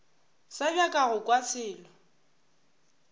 sa nyaka go kwa selo